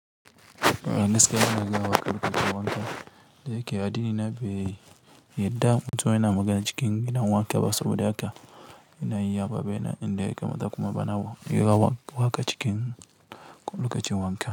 Eh ni gaskiya na magana waƙa lokacin wanka, da yake addini na ba i, yadda mutum yana magana cikin gina wanka ba saboda haka ina iya babena inda yake mata kuma bana yiwuwa waƙa cikin lokacin wanka.